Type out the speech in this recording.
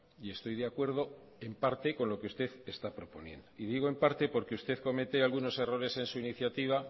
y estoy de acuerdo en parte con lo que usted está proponiendo y digo en parte porque usted comete algunos errores en su iniciativa